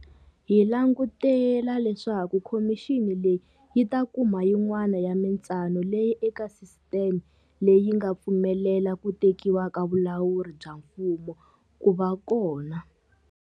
Hi langutela leswaku khomixini leyi yi ta kuma yin'wana ya mitsano leyi eka sisiteme leyi nga pfumelela ku tekiwa ka vulawuri bya mfumo ku va kona.